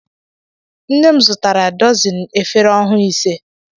Nne m zụtara dọzini efere ọhụụ ịse.